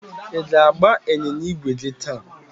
ị ga-agba ịnyịnya ígwè gị taa?